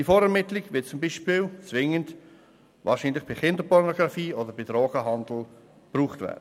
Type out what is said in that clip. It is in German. Die Vorermittlung beispielsweise wird wahrscheinlich zwingend bei Kinderpornografie oder Drogenhandel gebraucht werden.